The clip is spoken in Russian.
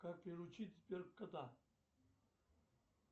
как приручить сбер кота